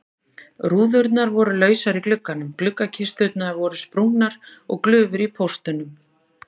Rúðurnar voru lausar í gluggunum, gluggakisturnar voru sprungnar og glufur í póstunum.